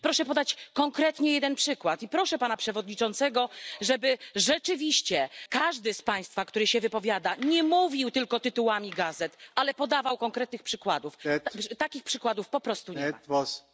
Proszę podać konkretnie jeden przykład i proszę pana przewodniczącego, żeby rzeczywiście każdy z państwa, który się wypowiada, nie mówił tylko tytułami gazet, ale podawał konkretne przykłady, takich przykładów po prostu nie ma.